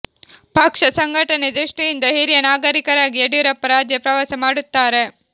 ಪಕ್ಷ ಸಂಘಟನೆ ದೃಷ್ಟಿಯಿಂದ ಹಿರಿಯ ನಾಯಕರಾಗಿ ಯಡಿಯೂರಪ್ಪ ರಾಜ್ಯ ಪ್ರವಾಸ ಮಾಡುತ್ತಾರೆ